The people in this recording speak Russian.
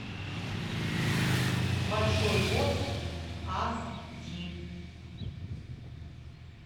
большой босс ас ди